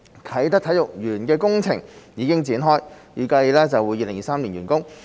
啟德體育園的工程現已開展，預計於2023年完工。